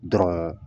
Dɔrɔn